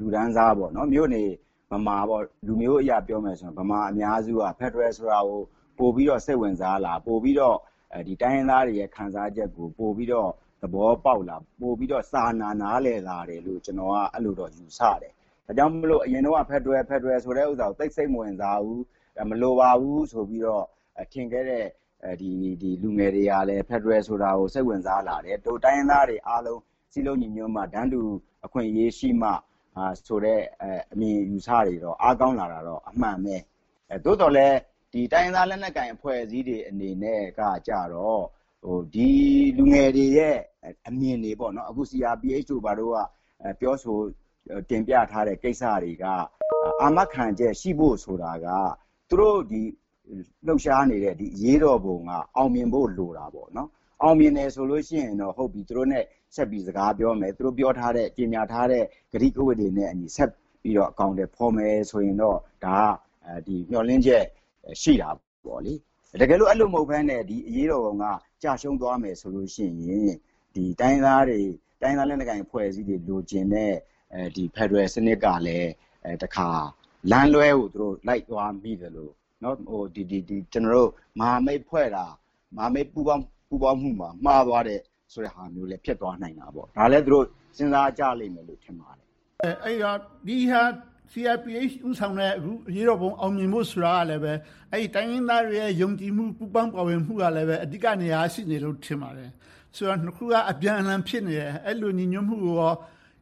လူတန်းစား၊ မြို့နေဗမာ - လူမျိုးအရပြောမယ်ဆိုရင် ဗမာအများစုက ဖယ်ဒရယ်ဆိုတာကို ပိုပြီးတော့ စိတ်ဝင်စားလား။ ပိုပြီးတော့ တိုင်းရင်းသားတွေရဲ့ ခံစားချက်ကို ပိုပြီးတော့ သဘောပေါက်လား။ ပိုပြီးတော့ စာနာနားလည်လာတယ်လို့ ကျနော်က အဲဒီလိုတော့ ယူဆပါတယ်။ ဒါကြောင့်မို့ အရင်တုန်းက ဖယ်ဒရယ် ဆိုတာကို သိပ်စိတ်မဝင်စားဘူး။ မလိုပါဘူးလို့ ထင်ခဲ့တဲ့ လူငယ်တွေကလဲ ဖယ်ဒရယ်ဆိုတာကို စိတ်ဝင်စားလာတယ်။ ဒို့တိုင်းရင်းသားတွေအားလုံး စည်းလုံးညီညွှတ်မှ၊ တန်းတူအခွင့်အရေးရှိမှဆိုတဲ့ အမြင်အယူအဆတွေ အားကောင်းလာတာတော့ အမှန်ပဲ။ သို့သော်လဲ တိုင်းရင်းသားလက်နက်ကိုင် အဖွဲ့အစည်းတွေအနေနဲ့ကြတော့ ဒီလူငယ်တွေရဲ့ အမြင်တွေ။ CRPH တို့က ပြောဆိုတင်ပြထားတဲ့ ကိစ္စတွေက အာမခံချက်ရှိဖို့ဆိုတာက သူတို့လှုပ်ရှားနေတဲ့ အရေးတော်ပုံက အောင်မြင်ဖို့လိုတယ်။ အောင်မြင်တယ်ဆိုရင်တော့ သူတို့နဲ့ ဆက်ပြီးတော့ စကားပြောမယ်။ သူတို့ကြေညာထားတဲ့ ကတိကဝတ်တွေနဲ့အညီ ဆက်ပြီးတော့ အကောင်အထည်ဖော်မယ်ဆိုရင်တော့ ဒါကမျှော်လင့်ချက် ရှိတာပေါ့။ တကယ်လို့ အဲဒီလိုမဟုတ်ဘဲနဲ့ အရေးတော်ပုံက ကျရှုံးသွားမယ်ဆိုရင် တိုင်းရင်းသားအဖွဲ့အစည်းတွေ လိုချင်နေတဲ့ ဖယ်ဒရယ်စနစ်ကလဲ တခါလမ်းလွှဲကို လိုက်သွားမိသလို - မဟာမိတ်ဖွဲ့တာ မဟာမိတ်ပူးပေါင်းမှုပါ မှားသွားတယ်ဆိုတာလဲ ဖြစ်သွားနိုင်တာပေါ့။ ဒါကိုလဲ စဉ်းစားကြလိမ့်မယ်လို့ ထင်ပါတယ်။ CRPH ဦးဆောင်တဲ့ အရေးတော်ပုံ အောင်မြင်ဖို့ဆိုတာလဲ တိုင်းရင်းသားတွေရဲ့ ယုံကြည်မှု၊ ပူးပေါင်းပါဝင်မှုကလဲ အဓိကနေရာက ရှိနေမယ်လို့ ထင်ပါတယ်။ နှစ်ခုက အပြန်အလှန် ဖြစ်နေတယ်။ အဲဒီလို ညီညွှတ်မှုကိုရော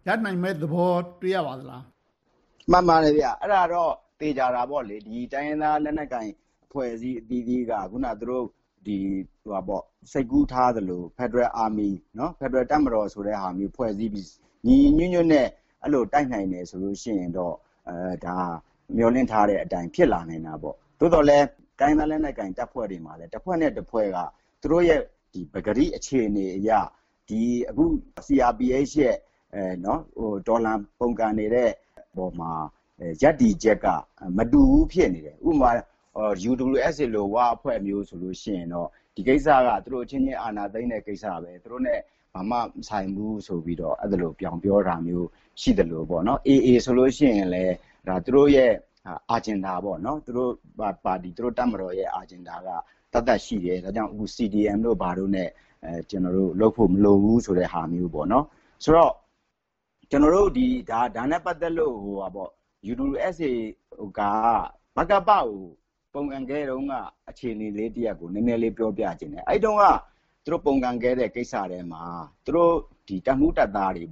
ရနိုင်မယ့်သဘော တွေ့ရပါသလား။ မှန်ပါတယ်။ အဲဒါတော့ သေချာတာပေါ့။ တိုင်းရင်းသားလက်နက်ကိုင် အဖွဲ့အစည်းအသီးသီးက အခုန စိတ်ကူးထားသလို ဖယ်ဒရယ်တပ်မတော်ဆိုတဲ့ဟာမျိုး ဖွဲ့စည်းပြီး ညီညီညွှတ်ညွှတ်နဲ့ အဲဒီလို တိုက်နိုင်တယ်ဆိုရင်တော့ ဒါက မျှော်လင့်ထားတဲ့အတိုင်း ဖြစ်လာနိုင်တာပေါ့။ သို့သော်လဲ တိုင်းရင်းသားလက်နက်ကိုင် အဖွဲ့တွေမှာလဲ တဖွဲ့နဲ့တဖွဲ့က သူတို့ရဲ့ ပကတိအခြေအနေအရ အခု CRPH ရဲ့ တော်လှန်ပုန်ကန်နေတဲ့ပေါ်မှာ ရပ်တည်ချက်က မတူဘူး ဖြစ်နေတယ်။ ဥပမာ UWSA ဝအဖွဲ့မျိုးဆိုရင် ဒီကိစ္စက သူတို့အချင်းချင်း အာဏာသိမ်းတဲ့ကိစ္စ။ သူတို့နဲ့ ဘာမှမဆိုင်ဘူးဆိုပြီး အဲဒီလို ဗြောင်းပြောတာမျိုး ရှိသလို။ AA ဆိုရင်လဲ သူတို့ရဲ့ Agenda သူတို့တပ်မတော်ရဲ့ Agenda က သက်သက်ရှိတယ်။ ဒါကြောင့်မို့ CDM တို့ ဘာတို့နဲ့ လုပ်ဖို့မလိုဘူးဆိုတဲ့ဟာမျိုး။ ဆိုတော့ ကျနော်တို့ ဒါနဲ့ပတ်သက်လို့ UWSA က ဗကပကို ပုန်ကန်ခဲ့တုန်းက အခြေအနေတရပ်ကို နည်းနည်းလေး ပြောပြချင်တယ်။ အဲဒီတုန်းက သူတို့ပုန်ကန်ခဲ့တဲ့ ကိစ္စထဲမှာ ဝတပ်မှူးတပ်သားတွေ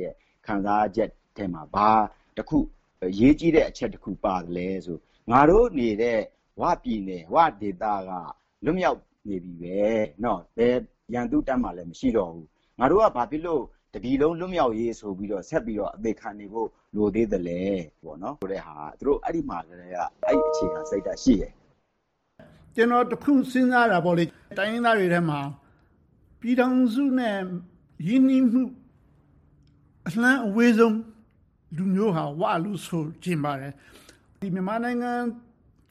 ရဲ့ ခံစားချက်ထဲမှာ ဘာအရေးကြီးတဲ့အချက် တခုပါသလဲဆိုရင် “ငါတို့နေတဲ့ ဝပြည်နယ်၊ ဝဒေသက လွတ်မြောက်နေပြီပဲ။ ဘယ်ရန်သူ့တပ်မှလဲ မရှိတော့ဘူး။ ငါတို့က ဘာဖြစ်လို့ တပြည်လုံး လွတ်မြောက်ရေးဆိုပြီး ဆက်ပြီးတော့ အသေခံနေဖို့ လိုသေးသလား။” ဆိုတဲ့ဟာက သူတို့မှာ အဲဒီကတည်းက အဲဒီအခြေခံစိတ်ဓါတ် ရှိတယ်။ ကျနော် တခုစဉ်းစားတာက တိုင်းရင်းသားတွေထဲမှာ ပြည်ထောင်စုနဲ့ ရင်းနှီးမှု အလှမ်းအဝေးဆုံး လူမျိုးဟာ ‘ဝ’ လို့ ဆိုချင်ပါတယ်။ မြန်မာနိုင်ငံ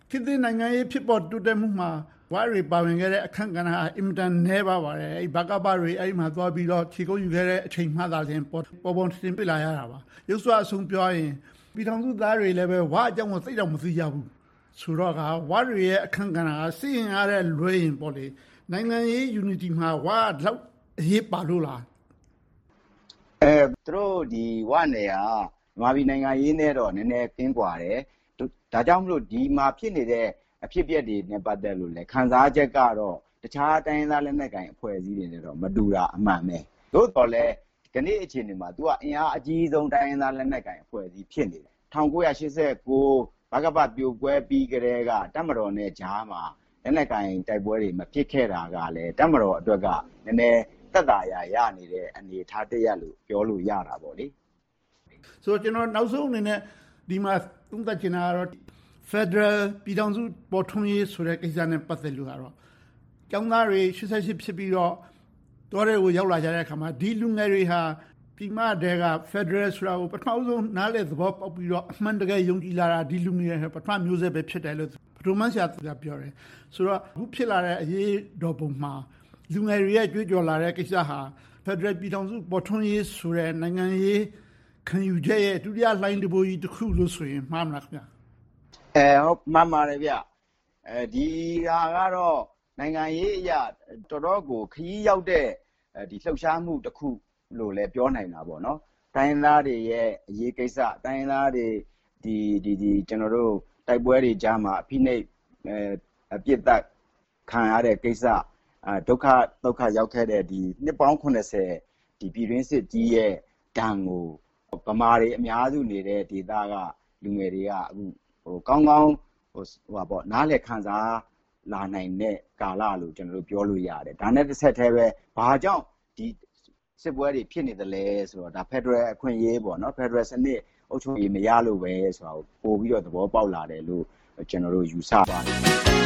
ခေတ်သစ်နိုင်ငံရေး တိုးတက်မှုမှာ ဝတွေ ပါဝင်ခဲ့တဲ့ အခန်းကဏ္ဍက အင်မတန်နည်းပါးပါတယ်။ ဗကပတွေ အဲဒီမှာ ခြေကုပ်ယူခဲ့တဲ့ အချိန်မှ ပေါ်ပေါ်ထင်ထင် တွေ့လာရတာပါ။ ယုတ်စွအဆုံး ပြောရရင် ပြည်ထောင်စုသားတွေလဲ ဝအကြောင်းကို သိပ်တောင်မသိကြဘူးဆိုတော့ ဝတွေရဲ့ အခန်းကဏ္ဍက စစ်အင်အားထက်လွှဲရင် နိုင်ငံရေး Unity မှာ ဝတွေက ဒီလောက်အရေးပါလို့လား။ သူတို့ဝနယ်ကတော့ မြန်မာပြည်နိုင်ငံရေးနဲ့တော့ နည်းနည်းကင်းကွာတယ်။ ဒါကြောင့်မို့ ဒီမှာဖြစ်နေတဲ့ အဖြစ်အပျက်တွေနဲ့ ပတ်သက်လို့လဲ ခံစားချက်ကတော့ တခြားတိုင်းရင်းသားလက်နက်ကိုင် အဖွဲ့အစည်းတွေနဲ့တော့ မတူတာ အမှန်ပဲ။ သို့သော်လဲ ကနေ့အခြေအနေမှာ အင်အားအကြီးဆုံး တိုင်းရင်းသားလက်နက်ကိုင် အဖွဲ့အစည်း ဖြစ်နေတယ်။ ၁၉၈၉ ဗကပ ပြိုကွဲပြီးကတည်းက တပ်မတော်နဲ့ကြားမှာ လက်နက်ကိုင်တိုက်ပွဲတွေ မဖြစ်ခဲ့တာကလဲ တပ်မတော်အတွက်လဲ သက်သာရာ ရနေတဲ့ အနေအထားတရပ်လို့ ပြောလို့ရတယ်။ ကျနော် နောက်ဆုံးအနေနဲ့ ဒီမှာ သုံးသပ်ချင်တာက ဖယ်ဒရယ်ပြည်ထောင်စု ပေါ်ထွန်းရေးကိစ္စနဲ့ ပတ်သက်တာကတော့ ကျောင်းသားတွေ ၈၈ ဖြစ်ပြီးတော့ တောထဲကို ရောက်လာတဲ့အခါမှာ ဒီလူငယ်တွေဟာ ပြည်မထဲက ဖယ်ဒရယ်ဆိုတာကို ပထမဦးဆုံး နားလည်သဘောပေါက်ပြီးတော့ အမှန်တကယ် ယုံကြည်လာတာ ဒီလူငယ်တွေက ပထမမျိုးဆက် ဖြစ်တယ်လို့ ဗဒိုးမန်းရှာက ပြောတယ်။ အခုဖြစ်လာတဲ့ အရေးတော်ပုံမှာ လူငယ်တွေရဲ့ ကြွေးကြော်လာတဲ့ ကိစ္စဟာ ဖယ်ဒရယ်ပြည်ထောင်စု ပေါ်ထွန်းရေးဆိုတဲ့ နိုင်ငံရေးခံယူချက်ရဲ့ ဒုတိယလှိုင်းတံပိုးကြီး တခုလို့ပြောရင် မှားမလား။ မှန်ပါတယ်။ ဒီဟာကတော့ နိုင်ငံရေးအရ တော့်တော်ကို ခရီးရောက်တဲ့ လှုပ်ရှားမှုတခုလို့ ပြောနိုင်တယ်။ တိုင်းရင်းသားတွေရဲ့ အရေးကိစ္စ။ တိုင်းရင်းသားတွေရဲ့ တိုက်ပွဲတွေကြားမှာ ဖိနှိပ်ပစ်သတ်ခံရတဲ့ ကိစ္စ။ ဒုက္ခသုက္ခရောက်ခဲ့တဲ့ နှစ်ပေါင်း ပြည်တွင်းစစ်ကြီးရဲ့ ဒဏ်ကို ဗမာတွေအများစုနေတဲ့ ဒေသက လူငယ်တွေက အခုဆို ကောင်းကောင်းနားလည်ခံစားလာနိုင်တဲ့ ကာလလို့ ပြောလို့ရတယ်။ ဒါနဲ့ တဆက်တည်းပဲ ဘာကြောင့် စစ်ပွဲတွေ ဖြစ်နေသလဲဆိုတဲ့ ဖယ်ဒရယ်အခွင့်အရေး၊ ဖယ်ဒရယ်စနစ် အုပ်ချုပ်ရေး မရလို့ပဲဆိုပြီး ပိုပြီးတော့ သဘောပေါက်လာတယ်လို့ ကျနော်တို့ ယူဆပါတယ်